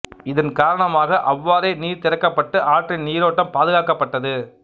இதன் காரணமாக அவ்வாறே நீர் திறக்கப்பட்டு ஆற்றின் நீரோட்டம் பாதுகாக்கப்பட்டது